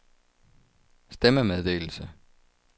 stemmemeddelelse